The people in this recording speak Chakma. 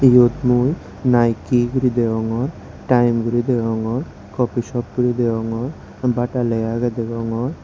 yot mui Nike guri degongor time guri degongor coffee shop guri degongor Bata lega agey degongor.